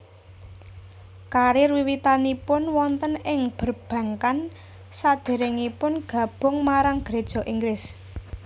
Karir wiwitanipun wonten ing perbankan sadèrèngipun gabung marang Geréja Inggris